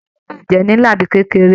Ìdílé lè jẹ nlá tàbí kékeré.